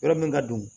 Yɔrɔ min ka bon